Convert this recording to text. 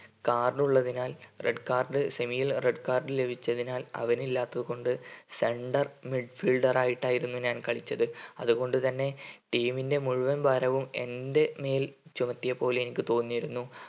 card ഉള്ളതിനാൽ red card semi ൽ red card ലഭിച്ചതിനാൽ അവന് ഇല്ലാത്തതു കൊണ്ട് center midfielder ആയിട്ടായിരുന്നു ഞാൻ കളിച്ചത് അതുകൊണ്ട് തന്നെ team ൻ്റെ മുഴുവൻ ഭാരവും എൻ്റെമേൽ ചുമത്തിയപ്പോൾ എനിക്ക് തോന്നിയിരുന്നു